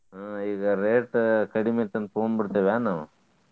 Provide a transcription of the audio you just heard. ಹ್ಮ್ ಈಗ rate ಕಡಿಮಿ ಐತಿ ಅಂತ ತಗೊಂಡ ಬಿಡ್ತೇವ ನಾವ.